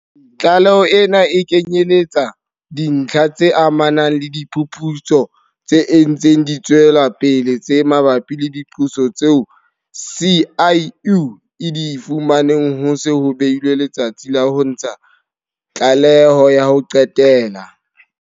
Tlaleho ena ha e kenyeletse dintlha tse amanang le diphuputso tse ntseng di tswela pele tse mabapi le diqoso tseo SIU e di fumaneng ho se ho behilwe letsatsi la ho ntsha tlaleho ya ho qetela.